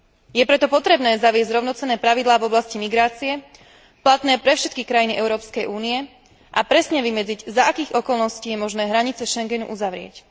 Je preto potrebné zaviesť rovnocenné pravidlá v oblasti migrácie, platné pre všetky krajiny Európskej únie, a presne vymedziť, za akých okolností je možné hranice Schengenu uzavrieť.